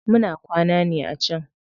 Muna kwana ne a can.